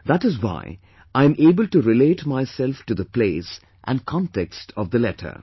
That is why I am able to relate myself to the place and context of the letter